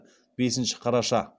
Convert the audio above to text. бесінші қараша